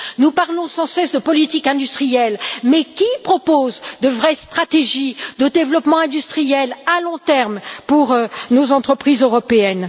Nous parlons sans cesse de politique industrielle mais qui propose de vraies stratégies de développement industriel à long terme pour nos entreprises européennes?